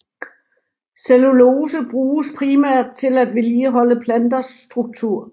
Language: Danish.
Cellulose bruges primært til at vedligeholde planters struktur